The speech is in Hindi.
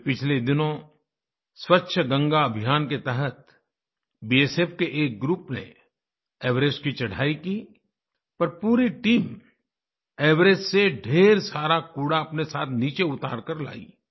अभी पिछले दिनों स्वच्छ गंगा अभियान के तहत बीएसएफ के एक ग्रुप ने एवरेस्ट की चढ़ाई कीपर पूरी टीम एवरेस्ट से ढ़ेर सारा कूड़ा अपने साथ नीचे उतार कर लायी